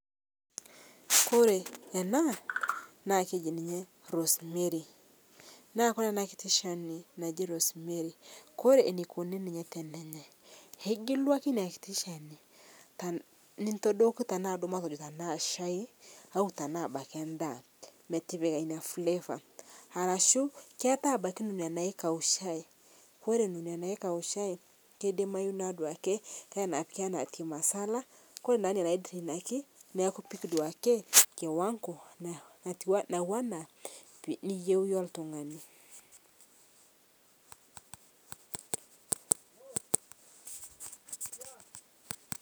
Ore ena naa keji ninye Rosemary. Naa ore enakiti shani naji Rosemary ore eneikoni ninye tenenyai, ingilu ake ina kiti shani nintodoki duo natejo tenaa shai au tenaa ebaiki endaa metipika ina flavour arashu keetai ebaiki nena naikaushai, ore nena naikaushai keidimayu naa duake anaa tea Masala ore naa nena naidrainaki, ipik duake kiwango natiu anaa iniyieu iyie oltungani